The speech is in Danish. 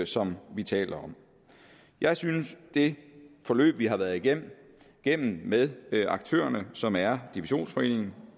som vi taler om jeg synes det forløb vi har været igennem igennem med aktørerne som er divisionsforeningen